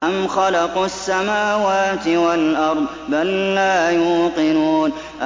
أَمْ خَلَقُوا السَّمَاوَاتِ وَالْأَرْضَ ۚ بَل لَّا يُوقِنُونَ